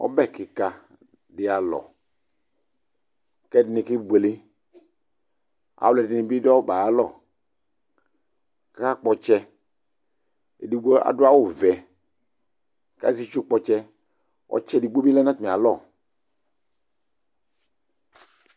ɔbɛ keka dialɔ kɛ ɛdene kebuele aluedene bedu ɔbe alɔ kakakpɔtsɛ edigbo adu awuvɛ ka azi estu kpotsɛ ɔtsɛ edigbo bi lɛ no ɔtami alɔ